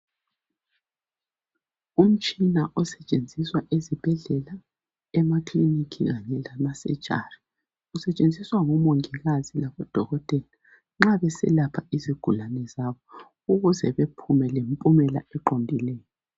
Umtshina osetshenziswa ezibhedlela, emakilinika kanye lemasejari ngoMongikazi laboDokotelanxa beselapha izigulane zabo ukuze baphume lemiphumela eqondileyo.